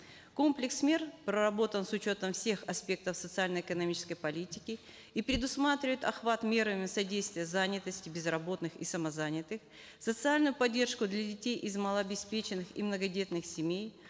комплекс мер проработан с учетом всех аспектов социально экономической политики и предусматривает охват мерами содействие занятости безработных и самозанятых социальную поддержку для детей из малообеспеченных и многодетных семей